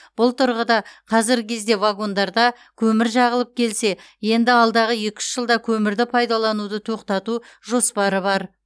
бұл тұрғыда қазіргі кезде вагондарда көмір жағылып келсе енді алдағы екі үш жылда көмірді пайдалануды тоқтату жоспары бар